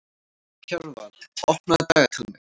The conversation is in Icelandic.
Kjarval, opnaðu dagatalið mitt.